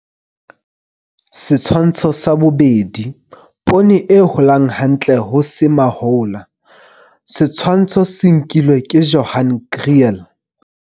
Setshwantsho sa 2. Poone e holang hantle ho se mahola. Setshwantsho se nkilwe ke Johan Kriel.